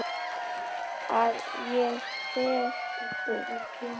Að ég fer burt.